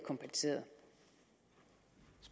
sige